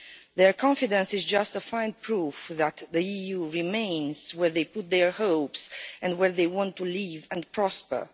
Their confidence is justifying proof that the EU remains where they put their hopes and where they want to live and prosper.